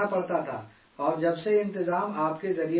اور جب سے سسٹم آپ کے ذریعے بنایا گیا ہے